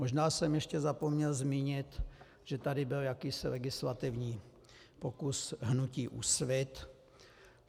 Možná jsem ještě zapomněl zmínit, že tady byl jakýsi legislativní pokus hnutí Úsvit.